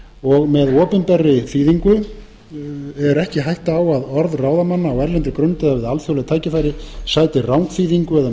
og með opinberri þýðingu er ekki hætta á að orð ráðamanna á erlendri grund eða við alþjóðleg tækifæri sæti rangþýðingu eða